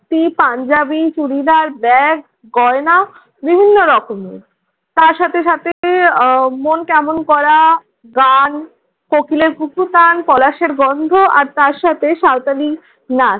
ধুতি, পাঞ্জাবি, চুড়িদার, ব্যাগ, গয়না বিভিন্ন রকমের। তার সাথে সাথে উহ মন কেমন করা গান, কোকিলের কুহুতান, পলাশের গন্ধ আর তার সাথে সাঁওতালি নাচ।